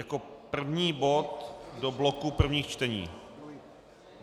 Jako první bod do bloku prvních čtení.